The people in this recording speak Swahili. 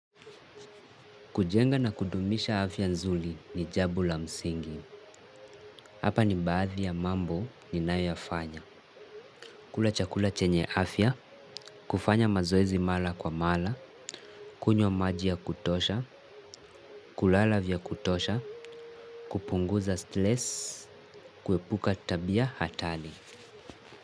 Kujenga na kudumisha afya nzuli ni jambo la msingi. Hapa ni mbathi ya mambo ni nae yafanya. Kula chakula chenye afya, kufanya mazoezi mala kwa mala, kunyo maji ya kutosha, kulala vya kutosha, kupunguza steles, kuepuka tabia hatali.